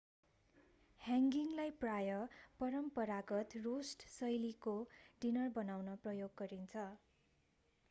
ह्याङ्गीलाई प्राय परम्परागत रोस्ट शैलीको डिनर बनाउन प्रयोग गरिन्छ